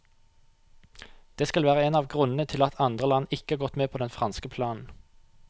Det skal være en av grunnene til at andre land ikke har gått med på den franske planen.